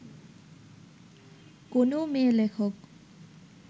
কোনও মেয়ে-লেখক